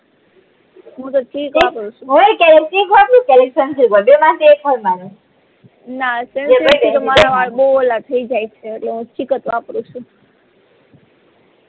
હું તો ચીઝ વાપરું છુ નાં સંસીલ્ક થી તો મારા વાળ બૌ ઓલા થઇ જાય છે એટલે હું ચીક જ વાપરું છું